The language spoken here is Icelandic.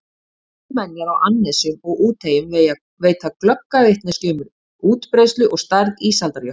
Jökulmenjar á annesjum og úteyjum veita glögga vitneskju um útbreiðslu og stærð ísaldarjökla.